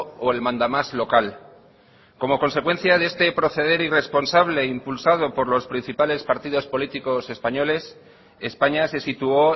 o el mandamás local como consecuencia de este proceder irresponsable impulsado por los principales partidos políticos españoles españa se situó